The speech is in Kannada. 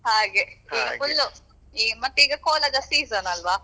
ಹಾಗೆ. full ಮತ್ತೆ ಈಗ ಕೋಲ ದ season ಅಲ್ವಾ.